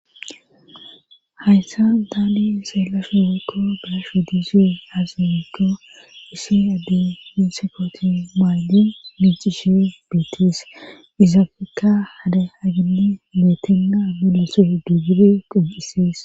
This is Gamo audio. Hayssa taani xeelasu woykko be'ashe diza haze giikko issi addey dinse koote mayidi miicishe bettes. Izappekka hara baggani matani mule giggida qoncisees.